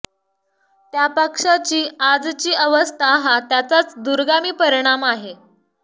त्या पक्षाची आजची अवस्था हा त्याचाच दूरगामी परिणाम आहे